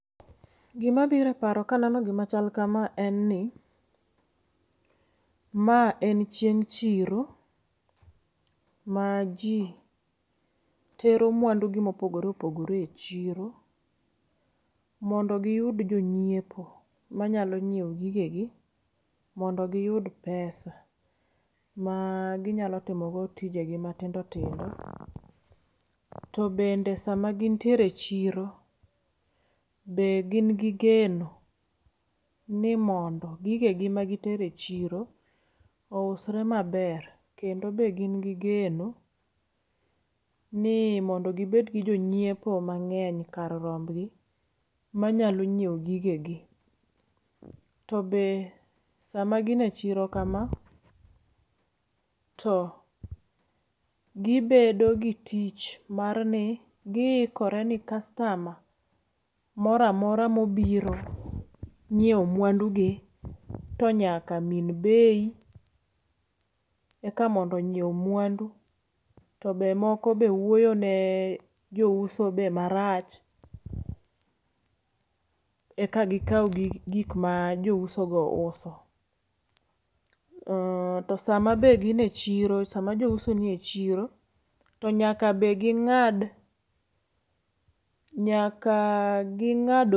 Gi ma biro e paro ka aneno gi ma kama en ni ma en chieng chiro ma ji tero mwandu gi ma opogore opogore e chiro mondo gi yud jo ngiepo ma nyalo nyiewo gige mondo gi yud pesa ma gi nyalo timo go tije gi matindo tindo to bende seche ma gin e chiro gin gi geno ni mondo gige gi ma gi tero e chiro ousre ma ber kendo be gin gi geno ni mondo gi bed gi jo ngiepo mangeny kar romb gi ma nyalo nyiewo gige gi. To saa be ma gin e chiro kama to gi bedo gi tich mar ni gi ikore ni kastama moro amora ma obiro ngiewo mwandu gi to nyaka min bei eka mondo ngiew mwandu to moko be wuoyo ne jouso marach eka gi kaw gik gik ma jo uso go uso. To be saa ma gin e chiro saa ma jouso ni e chiro nyaka gi ngad, nyaka gi ngad.